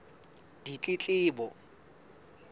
ditletlebo